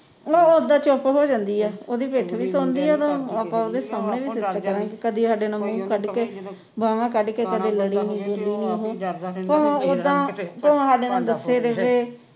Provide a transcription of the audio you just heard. ਉਹ ਉੱਦਾ ਚੁੱਪ ਹੋ ਜਾਂਦੀ ਆ